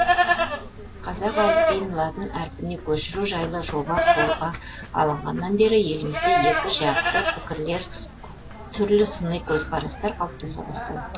қазақ әліпбиін латын әрпіне көшіру жайлы жоба қолға алынғаннан бері елімізде екі жақты пікірлер түрлі сыни көзқарастар қалыптаса бастады